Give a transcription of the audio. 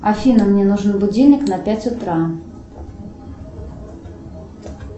афина мне нужен будильник на пять утра